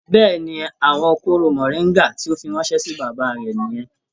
Bẹ́ẹ̀ni, àwọn kooro moringa tí o fí ránṣẹ sí bàbá rẹ niyẹn.